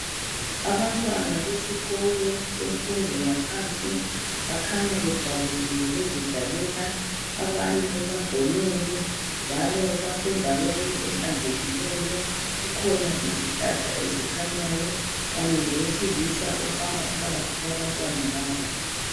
Abantwana besikolo semfundo yaphansi bakhanya bejabulile bezidlalela abanye bagonene njalo basendaweni ehlanzekileyo kukhona izihlahla kanye lowesilisa ohamba phakathi kwabantwana laba.